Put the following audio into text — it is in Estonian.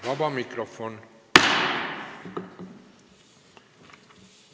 Vaba mikrofon.